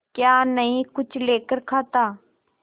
क्या नहीं कुछ लेकर खाता